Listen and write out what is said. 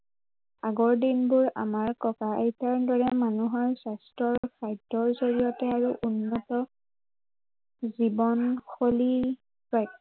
আগৰ দিনবোৰ আমাৰ ককা আইতাৰ দৰে মানুহৰ স্বাস্থ্য় আৰু খাদ্য়ৰ জৰিয়তে আৰু উন্নত জীৱন শৈলী